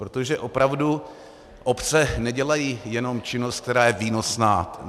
Protože opravdu obce nedělají jenom činnost, která je výnosná.